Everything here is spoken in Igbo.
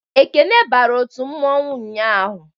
Ekene bara otu mmanwu ụnyaahụ